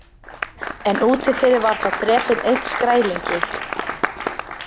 En úti fyrir var þá drepinn einn Skrælingi.